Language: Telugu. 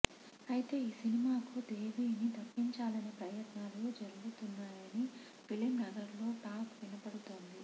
అయితే ఈ సినిమాకు దేవీని తప్పించాలనే ప్రయత్నాలు జరగుతున్నాయని ఫిలింనగర్ లో టాక్ వినపడుతోంది